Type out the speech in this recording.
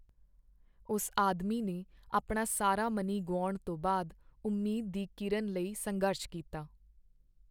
ਉਸ ਆਦਮੀ ਨੇ ਆਪਣਾ ਸਾਰਾ ਮਨੀ ਗੁਆਉਣ ਤੋਂ ਬਾਅਦ ਉਮੀਦ ਦੀ ਕੀਰਨ ਲਈ ਸੰਘਰਸ਼ ਕੀਤਾ।